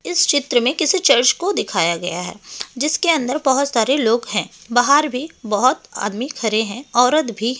इस चित्र में किसी चर्च को दिखाया गया है जिसके अंदर बहुत सारे लोग हैं बाहर भी बहुत आदमी खड़े हैं औरत भी हैं।